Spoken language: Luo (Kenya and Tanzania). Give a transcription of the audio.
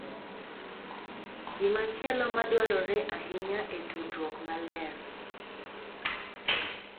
Gimachielo ma dwarore ahinya e tudruok maler .